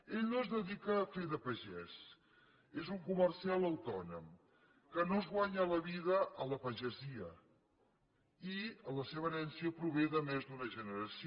ell no es dedica a fer de pagès és un comercial autònom que no es guanya la vida a la pagesia i la seva herència prové de més d’una generació